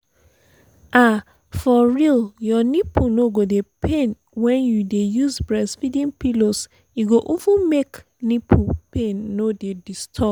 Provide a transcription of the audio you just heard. ah for real your nipple no go dey pain wen you dey use breastfeeding pillows e go even make make nipple pain no dey disturb